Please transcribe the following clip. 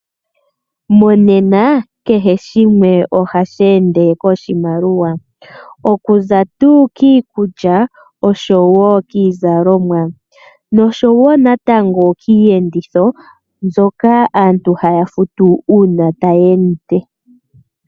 Monena kehe shimwe ohashi ende kiimaliwa. Okuza tuu kiikulya, oshowo kiizalomwa, noshowo natango kiiyenditho, mbyoka aantu haya futu uuna taya endemo.